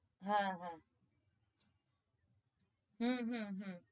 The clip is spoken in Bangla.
হ্যাঁ হ্যাঁ হম হম হম